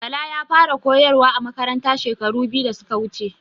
Bala ya fara a koyarwa a Makaranta shekaru biyu da suka wuce